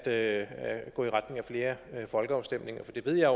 at gå i retning af flere folkeafstemninger for det ved jeg